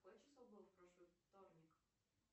какое число было в прошлый вторник